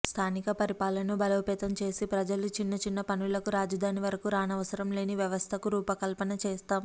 స్థానిక పరిపాలనను బలోపేతం చేసి ప్రజలు చిన్న చిన్న పనులకు రాజధాని వరకు రానవసరం లేని వ్యవస్థకు రూపకల్పన చేస్తాము